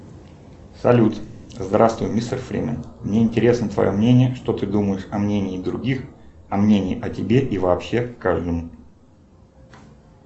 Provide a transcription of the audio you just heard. салют здравствуй мистер фримен мне интересно твое мнение что ты думаешь о мнении других о мнении о тебе и вообще к каждому